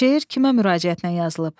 Şeir kimə müraciətlə yazılıb?